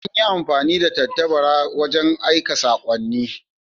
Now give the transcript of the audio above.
An yi amfani da tattabara wajen aika sakonni a da.